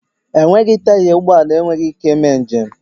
Enweghị taya ụgbọ ala enweghị ike ị mee m'jem